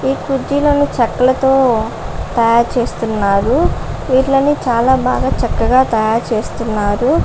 ఇక్కడ కుర్చీలను చెక్కలతో తయారు చేస్తున్నారు. వీటిని చాలా బాగా చక్కగా తయారు చేస్తున్నారు.